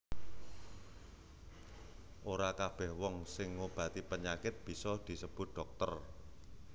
Ora kabèh wong sing ngobati panyakit bisa disebut dhokter